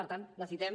per tant necessitem